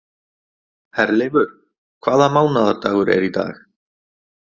Herleifur, hvaða mánaðardagur er í dag?